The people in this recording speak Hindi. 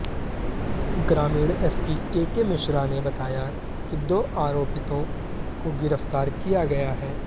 ग्रामीण एसपी केके मिश्रा ने बताया कि दो आरोपितों को गिरफ्तार किया गया है